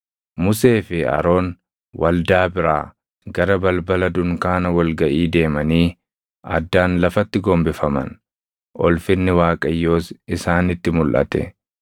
Musee fi Aroon waldaa biraa gara balbala dunkaana wal gaʼii deemanii addaan lafatti gombifaman; ulfinni Waaqayyoos isaanitti mulʼate.